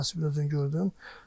Elə dərhal Nəsibin özünü gördüm.